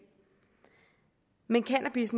men cannabis